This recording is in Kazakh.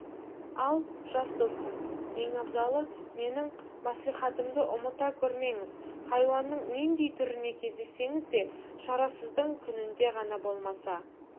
ал жас достым ең абзалы менің мәслихатымды ұмыта көрмеңіз хайуанның нендей түріне кездессеңіз де шарасыздың күнінде ғана болмаса